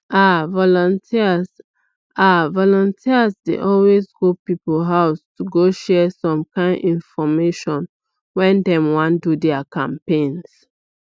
ah volunteers ah volunteers dey always go people house to go share some kind infomation when dey wan do their campaigns